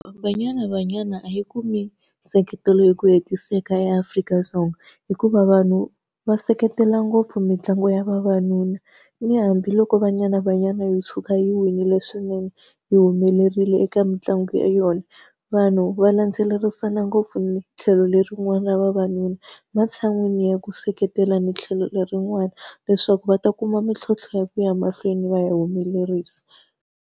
Banyana Banyana a yi kumi nseketelo hi ku hetiseka eAfrika-Dzonga, hikuva vanhu va seketela ngopfu mitlangu ya vavanuna. Na hambiloko Banyana Banyana yo tshuka yi win-ile swinene yi humelerile eka mitlangu ya yona, vanhu va landzelerisa na ngopfu ni tlhelo lerin'wani ra vavanuna. Matshan'wini ya ku seketela ni tlhelo lerin'wana leswaku va ta kuma mintlhontlho ya ku ya mahlweni va ya humelerisa.